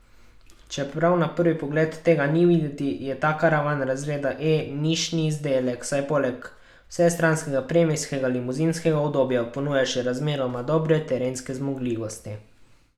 Čeprav na prvi pogled tega ni videti, je ta karavan razreda E nišni izdelek, saj poleg vsestranskega premijskega limuzinskega udobja ponuja še razmeroma dobre terenske zmogljivosti.